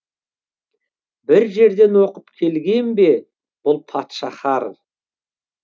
бір жерден оқып келген бе бұл патшахар